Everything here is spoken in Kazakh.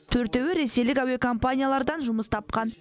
төртеуі ресейлік әуекомпаниялардан жұмыс тапқан